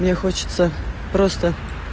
мне хочется просто